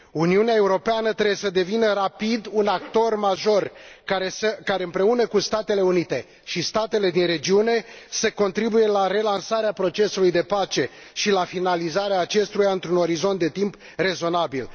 Uniunea Europeană trebuie să devină rapid un actor major care, împreună cu Statele Unite și statele din regiune, să contribuie la relansarea procesului de pace și la finalizarea acestuia într un orizont de timp rezonabil.